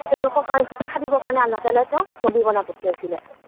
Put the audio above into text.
তেওঁলোকক শিক্ষা দিবৰ কাৰণে আল্লাহ তালাই তেওঁক নৱী বনাই পঠিয়াইছিলে।